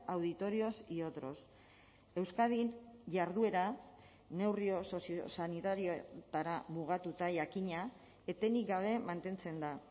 auditorios y otros euskadin jarduera neurri soziosanitarioetara mugatuta jakina etenik gabe mantentzen da